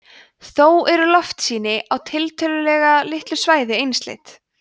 þó eru loftsýni á tiltölulega litlu svæði einsleit